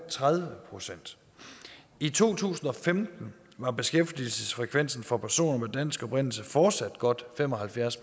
og tredive procent i to tusind og femten var beskæftigelsesfrekvensen for personer af dansk oprindelse fortsat godt fem og halvfjerds